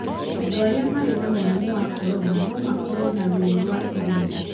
Andũ arĩa marĩ na mũrimũ wa corona no makorũo na ruo rwa irũngo.